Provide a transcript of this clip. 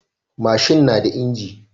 Mashin naga inji